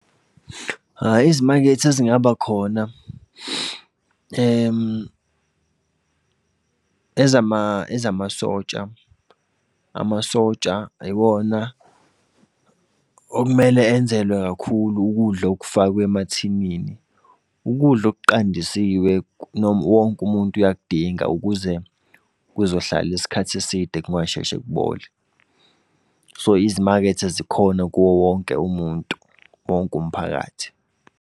Hhayi, izimakethe ezingaba khona, ezamasotsha. Amasotsha yiwona okumele enzelwe kakhulu ukudla okufakwe emathinini. Ukudla okuqandisiwe wonke umuntu uyakudinga, ukuze kuzohlala isikhathi eside kungasheshe kubole. So, izimakethe zikhona kuwo wonke umuntu, wonke umphakathi.